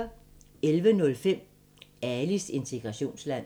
11:05: Alis integrationsland